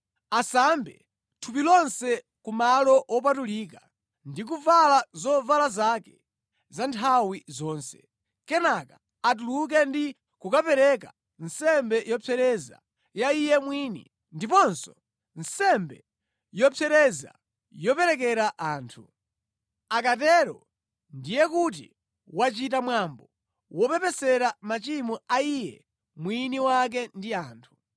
Asambe thupi lonse ku Malo Wopatulika ndi kuvala zovala zake za nthawi zonse. Kenaka atuluke ndi kukapereka nsembe yopsereza ya iye mwini, ndiponso nsembe yopsereza yoperekera anthu. Akatero ndiye kuti wachita mwambo wopepesera machimo a iye mwini wake ndi a anthu.